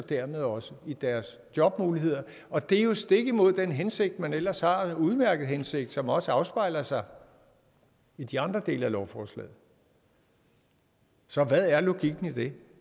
dermed også i deres jobmuligheder og det er jo stik imod den hensigt man ellers har den udmærkede hensigt som også afspejler sig i de andre dele af lovforslaget så hvad er logikken i det